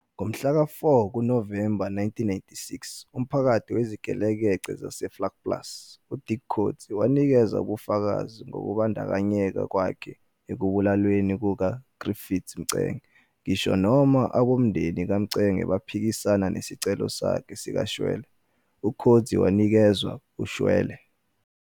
Ngomhlaka-4 kuNovemba 1996, umphathi wezigelekeqe zaseVlakplaas, uDirk Coetzee, wanikeza ubufakazi ngokubandakanyeka kwakhe ekubulaweni kukaGriffiths Mxenge. Ngisho noma abomndeni kaMxenge baphikisana nesicelo sakhe sikashwele, uCoetzee wanikezwa ushwele.